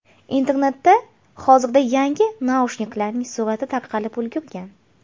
Internetda hozirda yangi naushniklarning surati tarqalib ulgurgan.